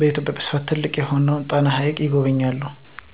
በኢትዮጵያ በስፍት ትልቅ የሆነውን ጣና ሀይቅን ይጎበኛሉ።